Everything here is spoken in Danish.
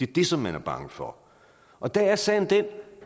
det som man er bange for og der er sagen den